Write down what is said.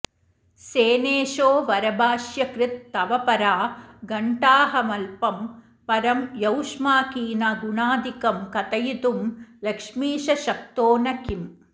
सेनेशो वरभाष्यकृत् तव परा घण्टाऽहमल्पं परं यौष्माकीनगुणादिकं कथयितुं लक्ष्मीश शक्तो न किम्